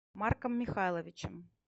марком михайловичем